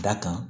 Da kan